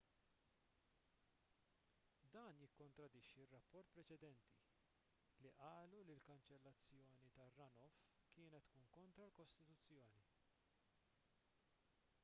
dan jikkontradixxi r-rapporti preċedenti li qalu li l-kanċellazzjoni tar-runoff kienet tkun kontra l-kostituzzjoni